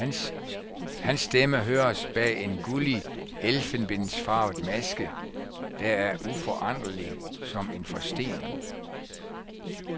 Hans stemme høres bag en gullig elfenbensfarvet maske, der er uforanderlig som en forstening.